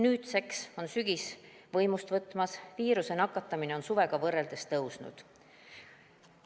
Nüüdseks on sügis võimust võtmas, viirusesse nakatumine on suvega võrreldes kasvanud.